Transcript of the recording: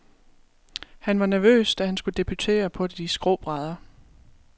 Han var nervøs, da han skulle debutere på de skrå brædder.